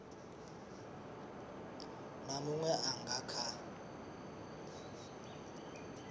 na munwe a nga kha